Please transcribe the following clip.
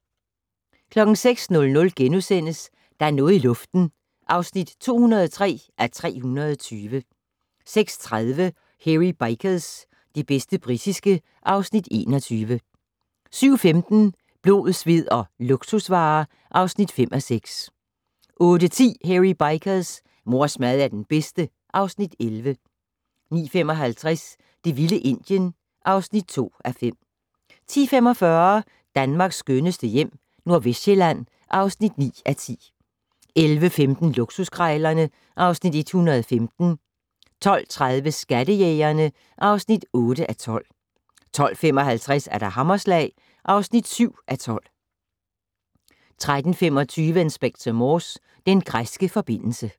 06:00: Der er noget i luften (203:320)* 06:30: Hairy Bikers - det bedste britiske (Afs. 21) 07:15: Blod, sved og luksusvarer (5:6) 08:10: Hairy Bikers: Mors mad er den bedste (Afs. 11) 09:55: Det vilde Indien (2:5) 10:45: Danmarks skønneste hjem - Nordvestsjælland (9:10) 11:15: Luksuskrejlerne (Afs. 115) 12:30: Skattejægerne (8:15) 12:55: Hammerslag (7:12) 13:25: Inspector Morse: Den græske forbindelse